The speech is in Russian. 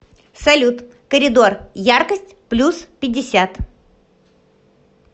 салют коридор яркость плюс пятьдесят